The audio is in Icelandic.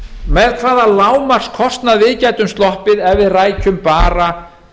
með hvaða lágmarkskostnað við gætum sloppið ef við rækjum bara